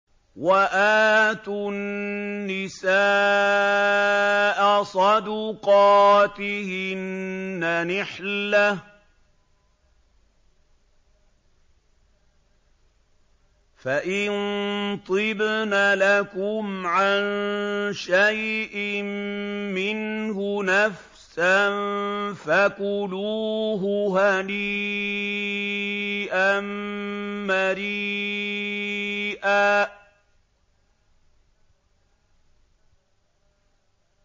وَآتُوا النِّسَاءَ صَدُقَاتِهِنَّ نِحْلَةً ۚ فَإِن طِبْنَ لَكُمْ عَن شَيْءٍ مِّنْهُ نَفْسًا فَكُلُوهُ هَنِيئًا مَّرِيئًا